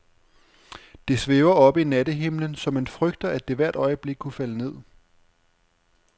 Det svæver oppe i nattehimlen, så man frygter, at det hvert øjeblik kunne falde ned.